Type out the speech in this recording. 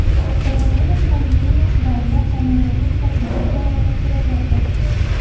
Koronavirus pandemiyasi davrida homiladorlik va tug‘ruq jarayoni suratlarda.